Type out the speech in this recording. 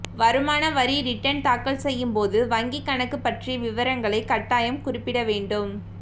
வருமான வரி ரிட்டன் தாக்கல் செய்யும் போது வங்கிக்கணக்கு பற்றிய விவரங்களை கட்டாயம் குறிப்பிடவேண்டும்